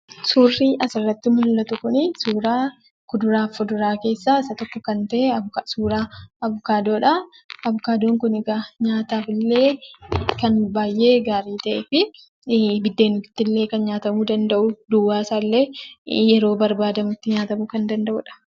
Suurri asii gaditti mul'atu kun suuraa kuduraaf muduraa keessaa tokko kan ta'e suuraa 'avokaadoo'dha. 'Avokaadoo'n kun egaa nyaataaf illee kan baay'ee gaarii ta'e, biddeenitti illee kan nyaatamuu danda'u, duwwaa isaa illee nyaatamuu kan danda'uudha.